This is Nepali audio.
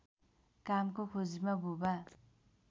कामको खोजीमा बुबा